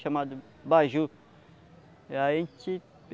Chamada baju. A gente